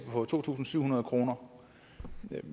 på to tusind syv hundrede kroner